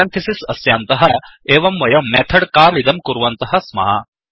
parenthesis अस्यान्तः एव वयं मेथड् काल् इदं कुर्वन्तः स्मः